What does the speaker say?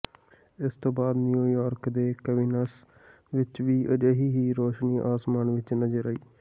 ਇਸ ਤੋਂ ਬਾਅਦ ਨਿਊਯਾਰਕ ਦੇ ਕਵੀਨਸ ਵਿਚ ਵੀ ਅਜਿਹੀ ਹੀ ਰੌਸ਼ਨੀ ਆਸਮਾਨ ਵਿਚ ਨਜ਼ਰ ਆਈ